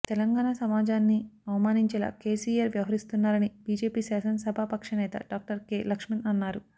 తెలంగాణ సమాజాన్ని అవమానించేలా కెసిఆర్ వ్యవహరిస్తున్నారని బిజెపి శాసన సభా పక్ష నేత డాక్టర్ కె లక్ష్మణ్ అన్నారు